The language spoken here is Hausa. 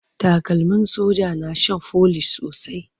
Takalmin soja na shan folish sosai.